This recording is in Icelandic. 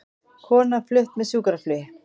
Kona flutt með sjúkraflugi